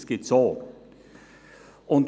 Das gibt es auch.